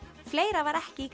fleira var ekki í